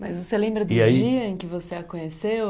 Mas você lembra E aí Do dia em que você a conheceu?